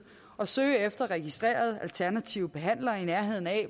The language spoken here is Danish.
og søge efter registrerede alternative behandlere i nærheden af